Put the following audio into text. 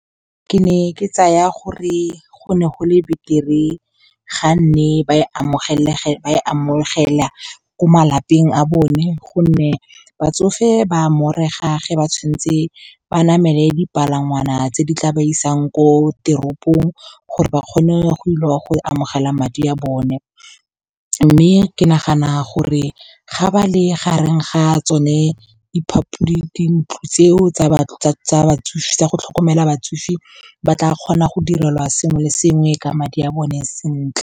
Ke ne ke tsaya gore go ne go le beter-e ga ne ba e amogela ko malapeng a bone, gonne batsofe ba morega ge ba tshwanetse ba namele dipalangwana tse di tla ba siyang ko teropong gore ba kgone go ile go amogela madi a bone. Mme ke nagana gore ga ba le gareng ga a tsone dintlo tseo tsa go tlhokomela batsofe, ba tla kgona go direlwa sengwe le sengwe ka madi a bone sentle.